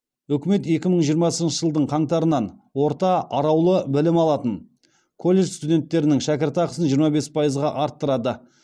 үкімет екі мың жиырмасыншы жылдың қаңтарынан орта араулы білім алатын колледж студенттерінің шәкіртақысын жиырма бес пайызға арттырады